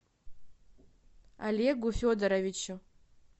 олегу федоровичу